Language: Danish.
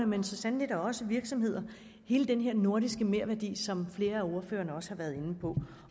men så sandelig også virksomhederne hele denne nordiske merværdi som flere af ordførerne også har været inde på